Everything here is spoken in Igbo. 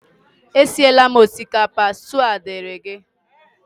Esiela m osikapa, stew a dịịrị gi